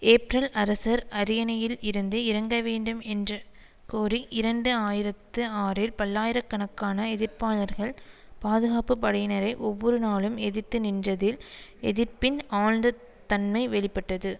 April அரசர் அரியணையில் இருந்து இறங்க வேண்டும் என்றுகோரி இரண்டு ஆயிரத்தி ஆறில் பல்லாயிர கணக்கான எதிர்ப்பாளர்கள் பாதுகாப்பு படையினரை ஒவ்வொரு நாளும் எதிர்த்து நின்றதில் எதிர்ப்பின் ஆழ்ந்த தன்மை வெளி பட்டது